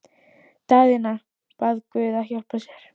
Daðína bað guð að hjálpa sér.